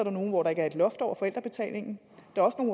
er nogle hvor der ikke er loft over forældrebetalingen